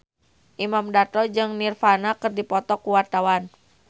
Imam Darto jeung Nirvana keur dipoto ku wartawan